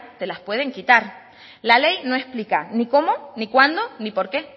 te las pueden quitar la ley no explica ni cómo ni cuándo ni por qué